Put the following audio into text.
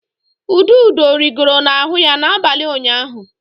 Ududo rigoro n'ahụ ya n'abalị ụnyaahụ.